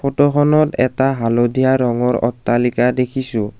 ফটোখনত এটা হালধীয়া ৰঙৰ অট্টালিকা দেখিছোঁ।